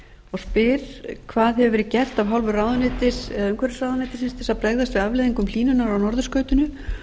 og spyr fyrstu hvað hefur verið gert af hálfu umhverfisráðuneytisins til að bregðast við afleiðingum hlýnunar á norðurskautinu